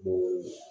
Mobili